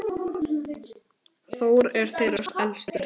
Þór er þeirra elstur.